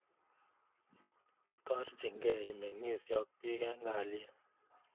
Itoorchi key imeng'isye ak piik eng' kalyet